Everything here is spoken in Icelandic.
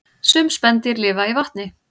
Sum spendýr lifa í vatni